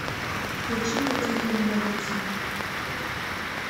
включи катерину голицыну